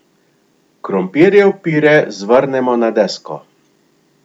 Krompirjev pire zvrnemo na desko.